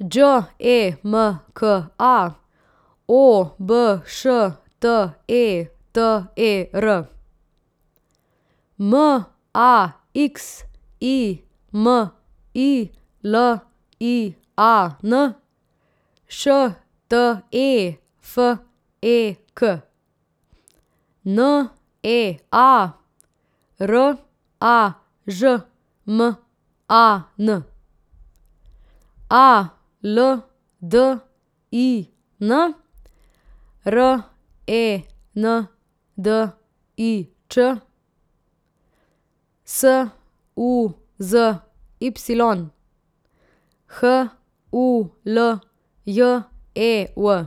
Đ E M K A, O B Š T E T E R; M A X I M I L I A N, Š T E F E K; N E A, R A Ž M A N; A L D I N, R E N D I Ć; S U Z Y, H U L J E V;